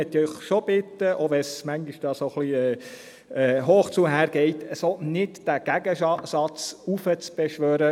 Deswegen möchte ich Sie schon bitten, auch wenn es manchmal etwas hoch hergeht, diesen Gegensatz nicht so heraufzubeschwören.